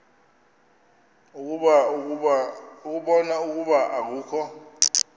ukubona ukuba akukho